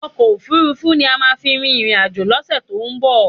Ọkò òfurufú ni a má à fi rin ìrìn àjò lọ́sẹ̀ tí ó ń bọ̀.